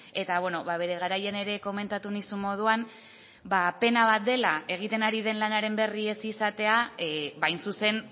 eta bere garaian ere komentatu nizun moduan pena bat dela egiten ari den lanaren berri ez izatea hain zuzen